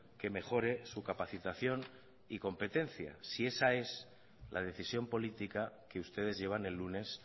que mejore su capacitación y competencia si esa es la decisión política que ustedes llevan el lunes